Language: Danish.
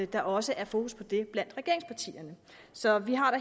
der også er fokus på det blandt regeringspartierne så vi har da